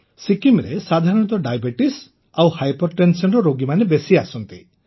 ସିକିମ୍ରେ ସାଧାରଣତଃ ଡାଇବେଟିସ୍ ଓ ହାଇପରଟେନସନ୍ ରୋଗୀମାନେ ବେଶୀ ଆସନ୍ତି